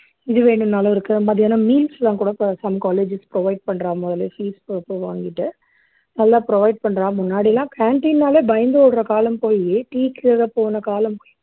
இது வேணும்னாலும் இருக்கு மதியானம் meals எல்லாம் கூட சில colleges provide பண்றா முதல்லயே fees போட்டு வாங்கிட்டு நல்லா provide பண்றா முன்னாடியெல்லாம் canteen ன்னாலே பயந்து ஓடுற காலம் போயி டீக்காக போன காலம் போயி